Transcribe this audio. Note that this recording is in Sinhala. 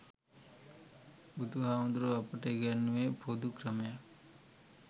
බුදුහාමුදුරුවෝ අපට ඉගැන්නුවෙ පොදු ක්‍රමයක්.